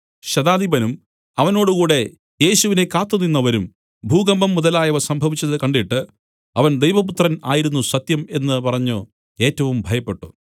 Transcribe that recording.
ശതാധിപനും അവനോടുകൂടെ യേശുവിനെ കാത്തുനിന്നവരും ഭൂകമ്പം മുതലായവ സംഭവിച്ചത് കണ്ടിട്ട് അവൻ ദൈവപുത്രൻ ആയിരുന്നു സത്യം എന്നു പറഞ്ഞു ഏറ്റവും ഭയപ്പെട്ടു